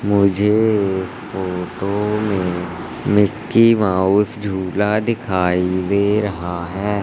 मुझे इस फोटो में मिकी माउस झूला दिखाई दे रहा हैं।